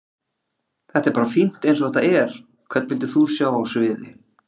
Þetta er bara fínt eins og þetta er Hvern vildir þú sjá á sviði?